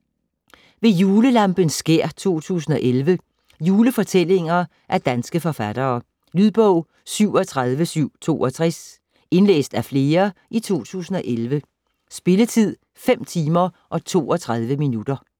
Ved julelampens skær 2011 Julefortællinger af danske forfattere. Lydbog 37762 Indlæst af flere, 2011. Spilletid: 5 timer, 32 minutter.